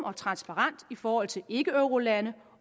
og transparent i forhold til ikkeeurolande